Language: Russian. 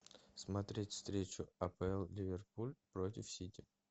смотреть встречу апл ливерпуль против сити